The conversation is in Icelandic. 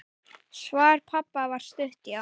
Svar pabba var stutt: Já!